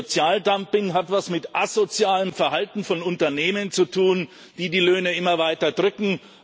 Sozialdumping hat etwas mit asozialem Verhalten von Unternehmen zu tun, die die Löhne immer weiter drücken.